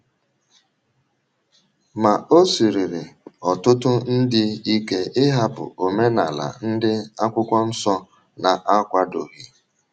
Ma, ọ̀ sịrịrí ọ̀tụ̀tụ̀ ndị ike ịhapụ omenala ndị Akwụkwọ Nsọ na-akwàdọghị.